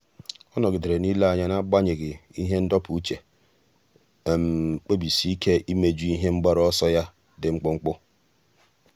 ọ́ nọ́gídèrè n’ílé anya n’ágbànyéghị́ ihe ndọpụ uche kpebisie ike íméjú ihe mgbaru ọsọ ya dị mkpụmkpụ.